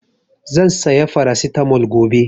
Zan saya Farasitamol gobe